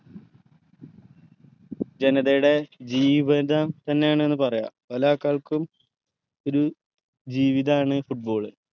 ജനതയടെ ജീവിതം തന്നെയാണ് എന്ന് പറയാം പലആൾക്കാൾക്കും ഒരു ജീവിതാണ് football